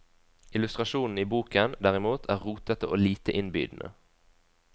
Illustrasjonene i boken, derimot, er rotete og lite innbydende.